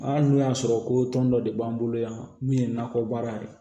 Aa n'o y'a sɔrɔ ko tɔn dɔ de b'an bolo yan min ye nakɔbaara ye